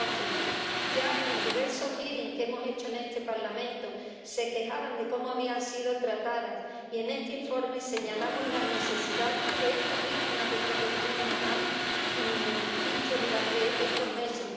2012. Ya en diversas audiencias que hemos organizado en este Parlamento se quejaban de cómo habían sido tratadas, y en este informe señalamos las necesidades que estas víctimas del terrorismo nos han dicho durante estos meses.